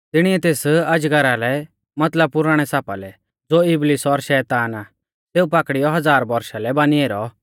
तिणिऐ तेस अजगरा लै मतलब पुराणै सापा लै ज़ो इबलीस और शैतान आ सेऊ पाकड़ियौ हज़ार बौरशा लै बानी ऐरौ